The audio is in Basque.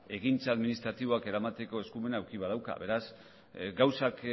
ekintza administratiboak eramateko eskumena eduki badauka beraz gauzak